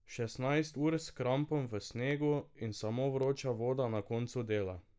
Šestnajst ur s krampom v snegu in samo vroča voda na koncu dela.